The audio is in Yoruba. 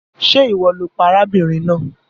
Ṣe iwọ lo pa arábìnrin náà?